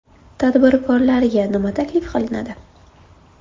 Tadbirkorlarga nima taklif qilinadi?